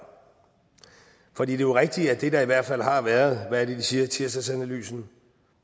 for det er jo rigtigt at antagelsen i hvert fald har været hvad er det de siger i tirsdagsanalysen